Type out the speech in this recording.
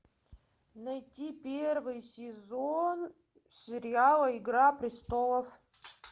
найти первый сезон сериала игра престолов